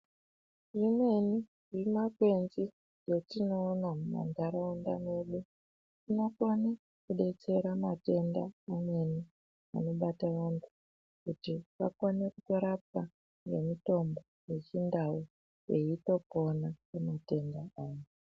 Tine imweni yemakwenzi yatinoona mumandaraunda mwedu inokone kudetsera matendaa amweni anobata vantu kuti vakone kurapwa nemitombo yechindau veitopona pamatenda avo.